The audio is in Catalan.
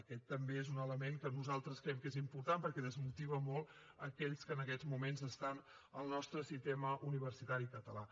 aquest també és un element que nosaltres creiem que és important perquè desmotiva molt aquells que en aquests moments estan al nostre sistema universitari català